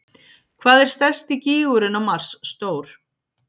Hvað er stærsti gígurinn á Mars stór?